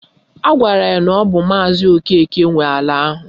Agwara ya na ọ bụ maazi Okeke nwe ala ahụ